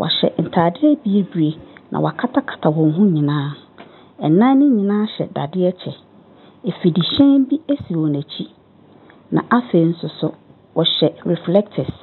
wɔhyɛ ntaare bibire na wɔakatakata wɔn ho nyinaa, nnan ne nyinaa hyɛ dadeɛ kyɛ. Afidihyɛn bi si wɔn akyi, na afei nso, wɔhyɛ reflectors.